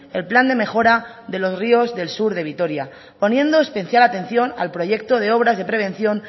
el plan de mejora de los ríos del sur de vitoria poniendo especial atención al proyecto de obras de prevención